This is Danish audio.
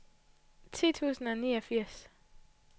ti tusind og niogfirs